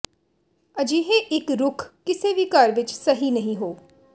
ਅਜਿਹੇ ਇੱਕ ਰੁੱਖ ਕਿਸੇ ਵੀ ਘਰ ਵਿਚ ਸਹੀ ਨਹੀ ਹੋ